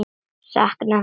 Sakna þín svo mikið.